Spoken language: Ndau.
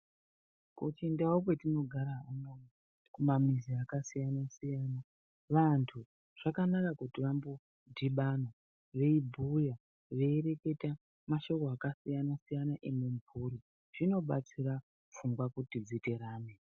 Kuchindau kwatinogara kumamizi akasiyanasiyana vantu zvakanaka kuti vambodhibana veibhuya , veireketa mashoko akasiyanasiyana emumhuri zvinobatsira pfungwa kuti dziterame.